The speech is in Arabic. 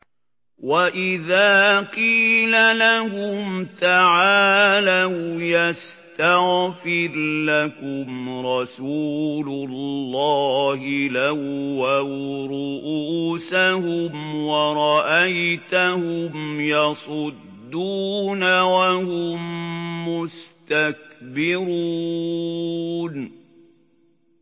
وَإِذَا قِيلَ لَهُمْ تَعَالَوْا يَسْتَغْفِرْ لَكُمْ رَسُولُ اللَّهِ لَوَّوْا رُءُوسَهُمْ وَرَأَيْتَهُمْ يَصُدُّونَ وَهُم مُّسْتَكْبِرُونَ